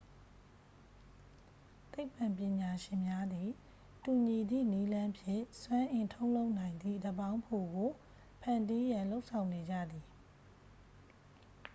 သိပ္ပံပညာရှင်များသည် တူညီသည့်နည်းလမ်းဖြင့် စွမ်းအင်ထုတ်လုပ်နိုင်သည့် ဓာတ်ပေါင်းဖိုကို ဖန်တီးရန် လုပ်ဆောင်နေကြသည်